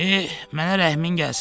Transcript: Eh, mənə rəhmin gəlsin.